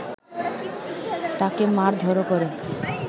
তাকে মারধরও করে